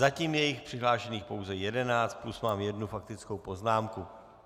Zatím je jich přihlášených pouze jedenáct plus mám jednu faktickou poznámku.